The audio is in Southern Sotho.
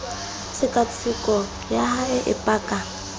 tshekatsheko ya hae e paka